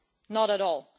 Not at all.